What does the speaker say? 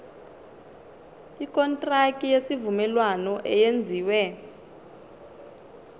ikontraki yesivumelwano eyenziwe